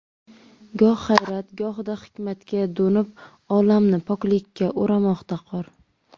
Goh hayrat, gohida hikmatga do‘nib, Olamni poklikka o‘ramoqda qor.